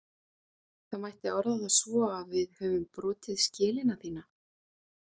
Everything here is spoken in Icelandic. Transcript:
Það mætti orða það svo að við höfum brotið skelina þína.